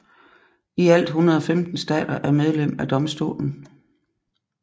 I alt 115 stater er medlem af domstolen